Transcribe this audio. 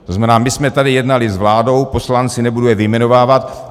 To znamená, my jsme tady jednali s vládou, poslanci, nebudu je vyjmenovávat.